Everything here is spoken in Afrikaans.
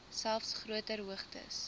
selfs groter hoogtes